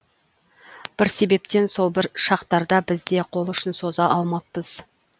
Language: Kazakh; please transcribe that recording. бір себептен сол бір шақтарда біз де қол ұшын соза алмаппыз